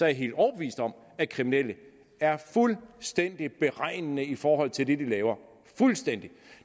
jeg helt overbevist om at kriminelle er fuldstændig beregnende i forhold til det de laver fuldstændig